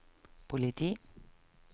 politi